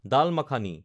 দাল মাখানি